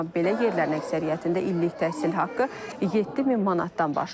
amma belə yerlərin əksəriyyətində illik təhsil haqqı 7000 manatdan başlayır.